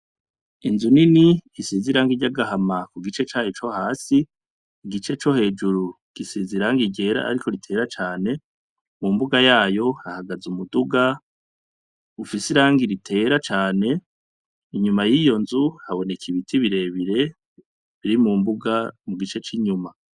Inzu nini isize iranga rya agahama ku gice caye co hasi igice co hejuru gisiza irange igera, ariko ritera cane mu mbuga yayo hahagaze umuduga ufise iranga ritera cane inyuma y'iyo nzu haboneka ibiti birebire biri mu mbuga mu gice c'inyuma.